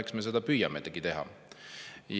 Eks me seda püüamegi teha.